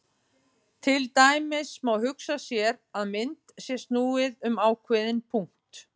Til dæmis má hugsa sér að mynd sé snúið um ákveðinn punkt.